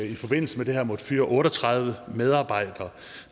i forbindelse med det her måttet fyre otte og tredive medarbejdere